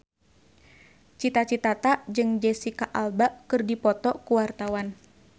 Cita Citata jeung Jesicca Alba keur dipoto ku wartawan